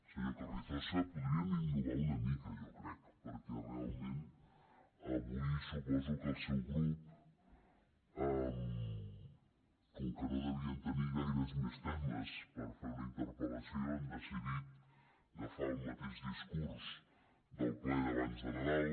senyor carrizosa podrien innovar una mica jo crec perquè realment avui suposo que el seu grup com que no devien tenir gaires més temes per fer una interpel·lació han decidit agafar el mateix discurs del ple d’abans de nadal